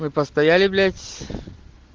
мы постояли блять